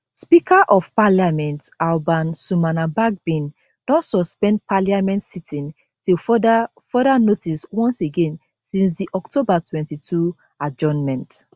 speaker of parliament alban sumana bagbin don suspend parliament sitting till further further notice once again since di october 22 adjournment